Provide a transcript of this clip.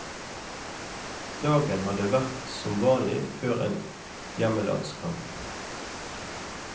Dagen hadde vært som vanlig før en hjemmelandskamp.